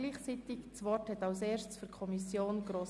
Zuerst hat Grossrätin Stucki für die Kommission das Wort.